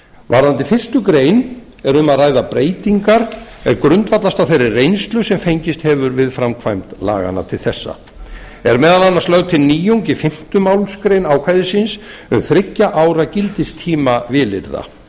varðandi fyrstu grein er um að ræða breytingar sem grundvallast á þeirri reynslu sem fengist hefur við framkvæmd laganna til þessa er meðal annars lögð til nýjung í fimmta málsgrein ákvæðisins um þriggja ára gildistíma vilyrða